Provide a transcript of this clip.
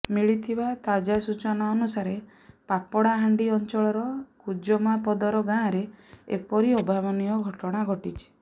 ମିଳିଥିବା ତାଜା ସୂଚନା ଅନୁସାରେ ପାପଡ଼ାହାଣ୍ଡି ଅଂଚଳର କୁଜମାପଦର ଗାଁ ରେ ଏପରି ଅଭାବନୀୟ ଘଟଣା ଘଟିଛି